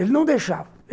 Ele não deixava.